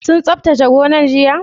Sun tsabtace gonar jiya?